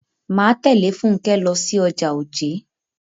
Máa tẹ̀lé Fúnkẹ́ lọ sí ọjà Ojé.